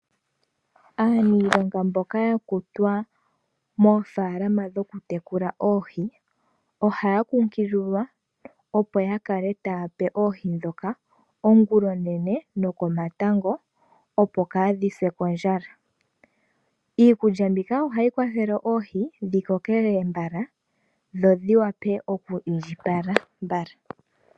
Aaniilonga mboka yakutwa moofaalama dhoku tekula oohi. Ohaya kunkililwa opo yakale taya pe oohi ndhoka ongulonene nokomatango opo kaadhi se kondjala. Iikulya mbika ohayi kwathele oohi dhi kokelele mbala dho dhi vule oku indjipala mbala.